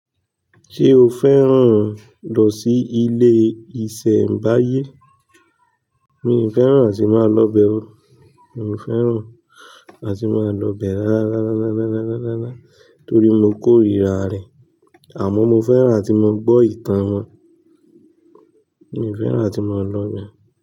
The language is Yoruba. Ṣé o fẹ́ràn lọ sí ilé ìṣẹ̀mbáyé? Mi ò fẹ́ràn àti máa lọ bẹ o. Mi ò fẹ́ràn àti máa lọ bẹ rárá torí mo k'órira rẹ̀. Àmọ́ mo fẹ́ràn tí mo gbọ́ ìtàn wọn. Mi ò fẹ́ràn àti máa lọ bẹ.